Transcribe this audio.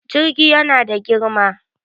Jirgi yana da girma.